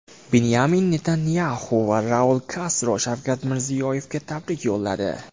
Binyamin Netanyaxu va Raul Kastro Shavkat Mirziyoyevga tabrik yo‘lladi.